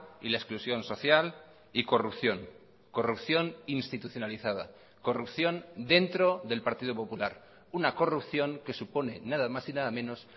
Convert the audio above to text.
y la exclusión social y corrupción corrupción institucionalizada corrupción dentro del partido popular una corrupción que supone nada más y nada menos